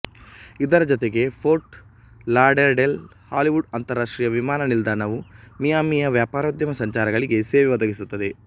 ಇದರ ಜೊತೆಗೆ Fort Lauderdale Hollywood ಅಂತರಾಷ್ಟ್ರೀಯ ವಿಮಾನ ನಿಲ್ದಾಣವು ಮಿಯಾಮಿಯ ವ್ಯಾಪಾರೋದ್ಯಮ ಸಂಚಾರಗಳಿಗೆ ಸೇವೆ ಒದಗಿಸುತ್ತದೆ